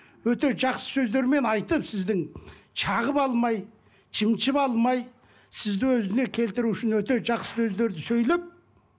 өте жақсы сөздермен айтып сіздің шағып алмай шымшып алмай сізді өзіне келтіру үшін өте жақсы сөздерді сөйлеп